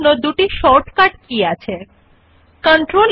again right click on the mouse and click on the paste option